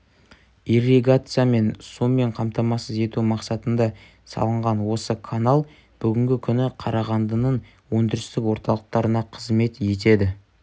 ирригация мен сумен қаматамасыз ету мақсатында салынған осы канал бүгінгі күні қарағандының өндірістік орталықтарына қызмет етеді